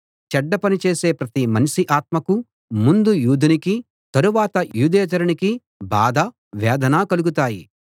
చెడ్డ పని చేసే ప్రతి మనిషి ఆత్మకు ముందు యూదునికి తరువాత యూదేతరునికి బాధ వేదన కలుగుతాయి